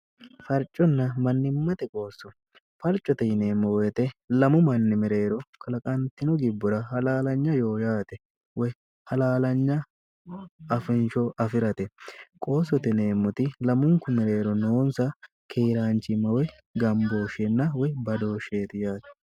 farconna mannimmate qoosso falcote yineemmo woyite lamu manni mereero klaqantino gibbura halaalanya yoo yaate woy halaalanya afinsho afi'rate qoosso tineemmoti lamunku mereero noonsa keeraanchimmawey gambooshinna woy badooshsheeti yaate